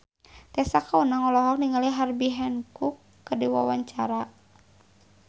Tessa Kaunang olohok ningali Herbie Hancock keur diwawancara